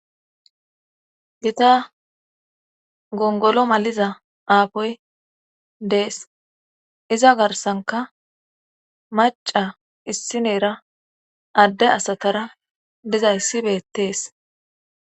Gita gongolo maliza aapoy dees iza garsanka maca issineera adde asatara diza issi beettees.